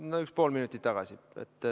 No üks pool minutit tagasi.